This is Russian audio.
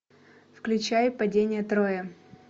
включай падение трои